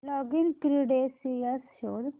login credentials शोध